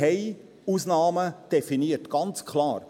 Wir haben Ausnahmen definiert, ganz klar;